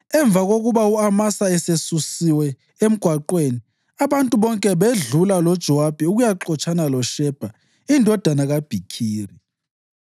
Emva kokuba u-Amasa esesusiwe emgwaqweni, abantu bonke bedlula loJowabi ukuyaxotshana loShebha indodana kaBhikhiri.